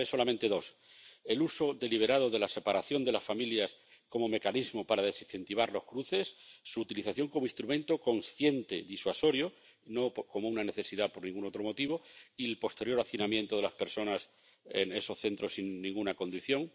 Citaré solamente dos el uso deliberado de la separación de las familias como mecanismo para desincentivar los cruces, su utilización como instrumento consciente disuasorio —no como una necesidad por ningún otro motivo— y el posterior hacinamiento de todas las personas en esos centros sin ninguna condición.